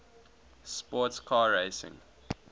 sports car racing